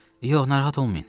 Yox, narahat olmayın.